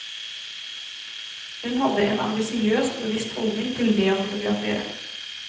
Hun hadde en ambisiøs og bevisst holdning til det å fotografere.